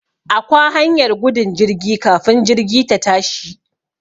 Akwa hanyar gudun jirgi kafin jirgi ta tashi